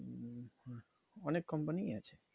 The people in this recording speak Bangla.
অনেক company ই আছে